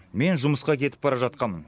мен жұмысқа кетіп бара жатқанмын